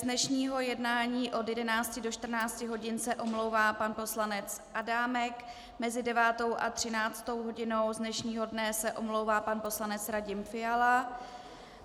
Z dnešního jednání od 11 do 14 hodin se omlouvá pan poslanec Adámek, mezi 9. a 13. hodinou z dnešního dne se omlouvá pan poslanec Radim Fiala.